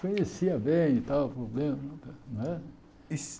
Conhecia bem e tal o problema, não é? E